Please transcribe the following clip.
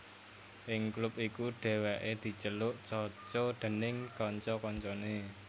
Ing klub iku Dèwèké diceluk Coco déning kanca kancané